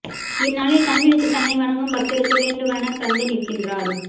இந்நாளில் கண் விழித்து தன்னை வணங்கும் பக்தருக்கு வேண்டுவன தந்து நிற்கின்றார்